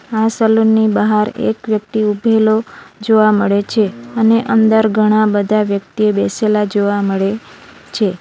આ સલૂનની બહાર એક વ્યક્તિ ઊભેલો જોવા મળે છે અને અંદર ઘણા બધા વ્યક્તિએ બેસેલા જોવા મળે છે.